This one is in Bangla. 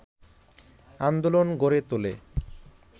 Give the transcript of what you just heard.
আন্দোলন গড়ে তোলে